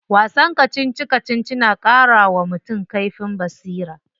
Wasan kacici kacici na karawa mutum kaifin basira.